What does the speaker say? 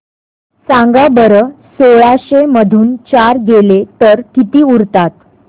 सांगा बरं सोळाशे मधून चार गेले तर किती उरतात